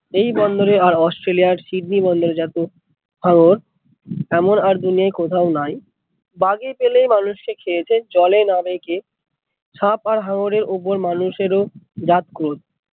এই বন্দর এ আর অস্ট্রেলিয়ার সিডনি বন্দর এ যত হাঙ্গর এমন আর দুনিয়ায় কোথাও নাই, বাগে পেলেই মানুষ কে খেয়েছে জলে না রেখে, সাপ আর হাঙ্গার এর উপর ও মানুষ এর রাগ খুব।